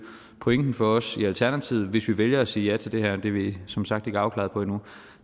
pointen for os i alternativet hvis vi vælger at sige ja til det her og det er vi som sagt ikke afklarede på endnu